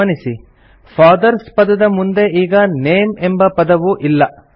ಗಮನಿಸಿ ಫಾದರ್ಸ್ ಪದದ ಮುಂದೆ ಈಗ ನೇಮ್ ಎಂಬ ಪದವು ಇಲ್ಲ